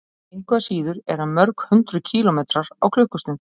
Engu að síður er hann mörg hundruð kílómetrar á klukkustund.